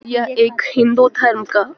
यह एक हिंदू धर्म का --